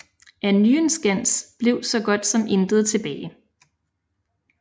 Af Nyenskans blev så godt som intet tilbage